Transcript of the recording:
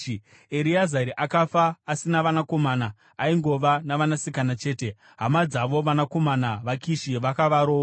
(Ereazari akafa asina vanakomana: aingova navanasikana chete. Hama dzavo, vanakomana vaKishi vakavaroora.)